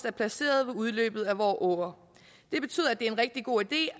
er placeret ved udløbet af vore åer det betyder at det er en rigtig god idé